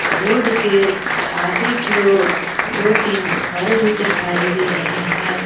Road के आगे की ओर दो तीन घर भी दिखाई दे रहे हैं।